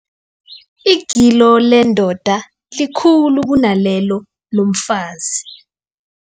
Igilo lendoda likhulu kunalelo lomfazi.